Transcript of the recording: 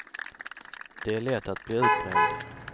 Det är lätt att bli utbränd.